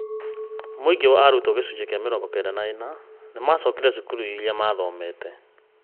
Mũingĩ wa arutwo gĩcunjĩ kĩa mĩrongo kenda na ĩna nĩ maacokire cukuru ĩrĩa maathomete.